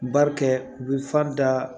Bari kɛ u bɛ fa da